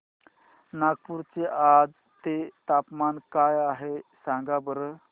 नागपूर चे आज चे तापमान काय आहे सांगा बरं